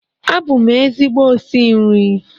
Abụ m ezigbo osi nri